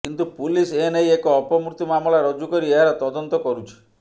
କିନ୍ତୁ ପୁଲିସ ଏ ନେଇ ଏକ ଅପମୃତ୍ୟୁ ମାମଲା ରୁଜୁ କରି ଏହାର ତଦନ୍ତ କରୁଛି